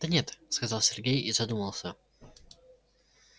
да нет сказал сергей и задумался